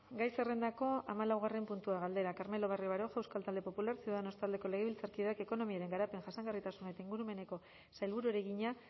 gai zerrendako hamalaugarren puntua galdera carmelo barrio baroja euskal talde popularra ciudadanos taldeko legebiltzarkideak ekonomiaren garapen jasangarritasun eta ingurumeneko sailburuari egina